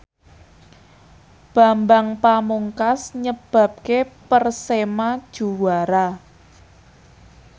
Bambang Pamungkas nyebabke Persema juara